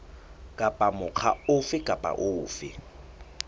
kapa mokga ofe kapa ofe